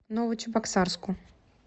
новочебоксарску